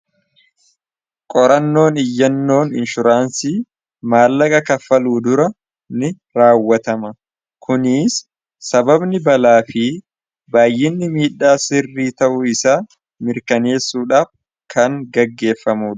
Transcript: qorannoon iyyannoon inshuraansii maallaqa kaffaluu dura ni raawwatama kuniis sababni balaa fi baayyinni miidhaa sirrii ta'uu isaa mirkaneessuudhaaf kan gaggeeffamua